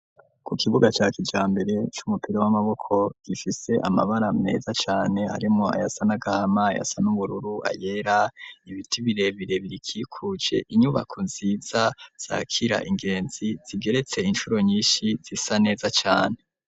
Ku kibuga ca kijambere c'umupira w'amaboko gifise amabara meza cane hariwo ayasa n'agahama, ayasa n'ubururu ayera ibiti birebire biyikikuje inyubako nziza zakira abagenzi zigeretse inshuro nyinshi zisa neza cane.